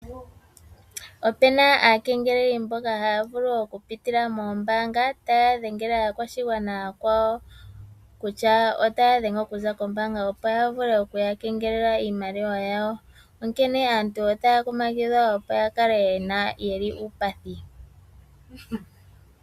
Ope na aakengeleli mboka haya dhengele aakwashigwana yakwawo okupitila mombaanga opo ya vule oku yakengelela iimaliwa yawo. Onkene aantu otaya kunkililwa ya kale yeli uupathi.